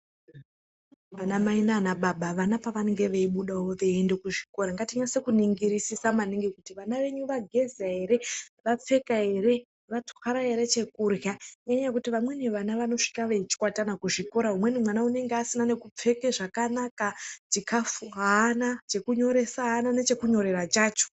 Ana mai nana baba vana pavanenge veyibudawo veyiyende kuzvikora ngatinase kuningirisisa maningi kuti vana vedu vageza here vapfeka here vatwara chokudya ngenyaa yokuti vamweni vana vanosvika vechikwata kuzvikora umweni unenge usina nekupfeke zvakanaka chikafu haana chekunyoresa aana nechekunyorera chacho.